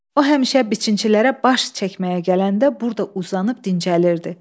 O həmişə biçinçilərə baş çəkməyə gələndə burda uzanıb dincəlirdi.